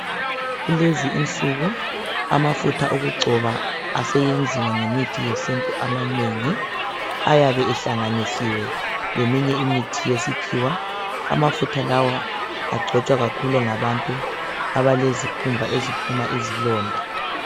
Kulezininsuku amafutha okugcoba eseyenziwa ngemithi yesintu amanengi ayabe ehlanganisiwe leminye imithi yesikhiwa amafutha lawa agcotshwa kakhulu ngabantu abalezikhumba eziphuma izilonda.